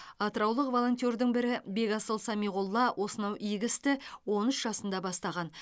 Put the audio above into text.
атыраулық волонтердің бірі бекасыл самиғолла осынау игі істі он үш жасында бастаған